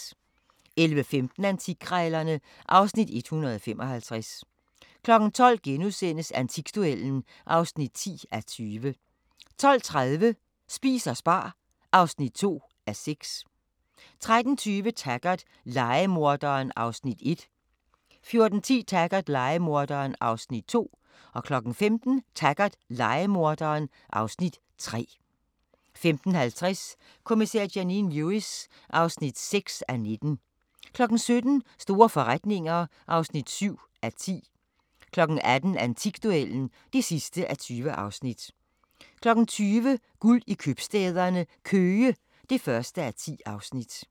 11:15: Antikkrejlerne (Afs. 155) 12:00: Antikduellen (10:20)* 12:30: Spis og spar (2:6) 13:20: Taggart: Lejemorderen (Afs. 1) 14:10: Taggart: Lejemorderen (Afs. 2) 15:00: Taggart: Lejemorderen (Afs. 3) 15:50: Kommissær Janine Lewis (6:19) 17:00: Store forretninger (7:10) 18:00: Antikduellen (20:20) 20:00: Guld i købstæderne – Køge (1:10)